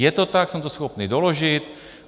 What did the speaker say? Je to tak, jsem to schopný doložit.